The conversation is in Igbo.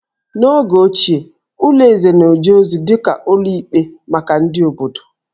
N'oge ochie, ụlọ eze na-eje ozi dị ka ụlọ ikpe maka ndị obodo